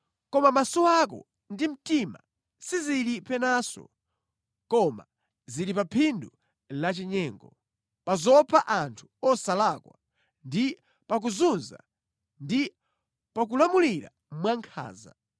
“Koma maso ako ndi mtima sizili penanso, koma zili pa phindu lachinyengo, pa zopha anthu osalakwa ndi pa kuzunza ndi pakulamulira mwankhanza.”